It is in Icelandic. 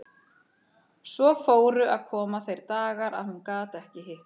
Svo fóru að koma þeir dagar að hún gat ekki hitt mig.